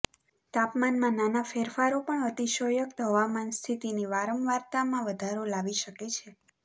તાપમાનમાં નાના ફેરફારો પણ અતિશયોક્ત હવામાન સ્થિતિની વારંવારતામાં વધારો લાવી શકે છે